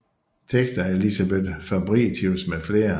Tekster af Elisabeth Fabritius med flere